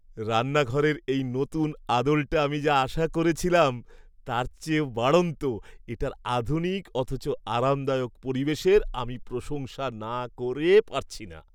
রান্নাঘরের এই নতুন আদলটা আমি যা আশা করেছিলাম তার চেয়ে বাড়ন্ত; এটার আধুনিক অথচ আরামদায়ক পরিবেশের আমি প্রশংসা না করে পারছি না।